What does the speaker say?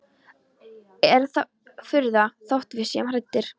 Er það furða þótt við séum hræddir?